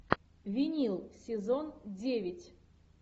винил сезон девять